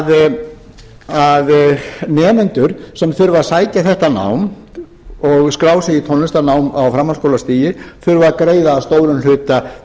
svo að nemendur sem þurfa að sækja þetta nám og skrá sig í tónlistarnám á framhaldsskólastigi þurfa að greiða að stórum hluta